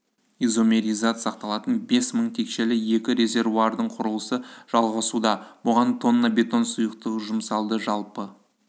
изомеризат сақталатын бес мың текшелі екі резервуардың құрылысы жалғасуда бұған тонна бетон сұйықтығы жұмсалды жалпы